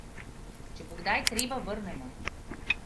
Če bo kdaj treba, vrnemo!